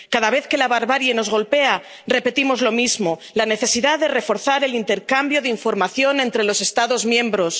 Cada vez que la barbarie nos golpea, repetimos lo mismo la necesidad de reforzar el intercambio de información entre los Estados miembros.